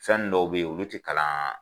Fɛnnin dɔw bɛ ye olu ti kalan